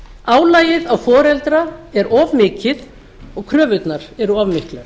álagið á foreldra er of mikið og kröfurnar eru of miklar